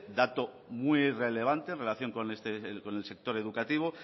dato muy relevante en relación con el sector educativo